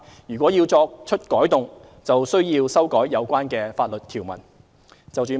如要作出改動，則須要修改有關法律條文。